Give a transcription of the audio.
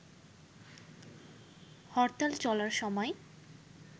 হরতাল চলার সময়